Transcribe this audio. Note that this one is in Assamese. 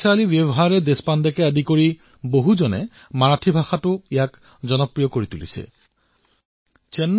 বৈশালী ব্যৱহাৰে দেশপাণ্ডেৰ দৰে লোকে ইয়াক মাৰাঠীত জনপ্ৰিয় কৰি তোলাৰ দিশত অগ্ৰসৰ হৈছে